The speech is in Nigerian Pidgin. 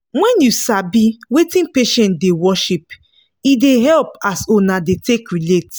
wen u sabi wetin patient da worship e da hep as una da take relate